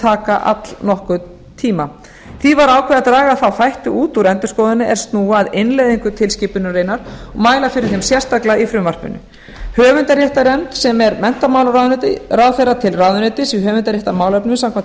taka allnokkurn tíma því var ákveðið að draga þá þætti út úr endurskoðuninni er snúa að innleiðingu tilskipunarinnar og mæla fyrir þeim sérstaklega í frumvarpinu höfundaréttarnefnd sem er menntamálaráðherra til ráðuneytis í höfundaréttarmálefnum samkvæmt